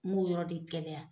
N m'o yɔrɔ de gɛlɛya